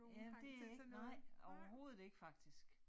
Jamen det ikke nej overhovedet ikke faktisk